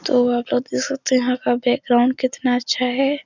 तो आप लोग यह सोचे यहाँ का बैकग्राउंड कितना अच्छा है।